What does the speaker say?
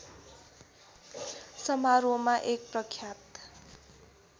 समारोहमा एक प्रख्यात